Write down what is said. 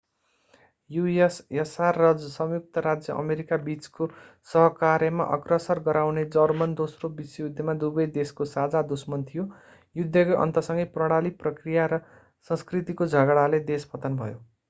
ussr र संयुक्त राज्य अमेरिका बीचको सहकार्यमा अग्रसर गराउने जर्मन दोस्रो विश्वयुद्धमा दुवै देशको साझा दुश्मन थियो युद्धको अन्त्यसँगै प्रणाली प्रक्रिया र संस्कृतिको झगडाले देश पतन भयो